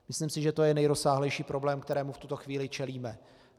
Myslím si, že to je nejrozsáhlejší problém, kterému v tuto chvíli čelíme.